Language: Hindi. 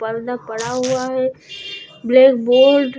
पर्दा पड़ा हुआ है ब्लैक बोर्ड --